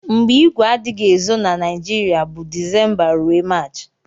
mgbe igwe adighi ezo na nigiria bu decemba rue marchi.